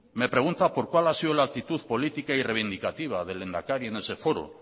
me pregunta por cuál ha sido la actitud política y reivindicativa del lehendakari en ese foro